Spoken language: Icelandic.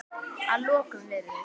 Að lokum virðist